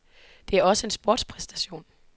Det er også en sportspræstation.